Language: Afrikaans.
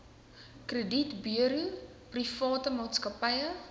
kredietburo private maatskappye